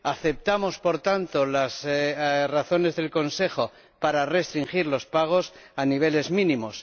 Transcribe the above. Aceptamos, por tanto, las razones del Consejo para restringir los pagos a niveles mínimos.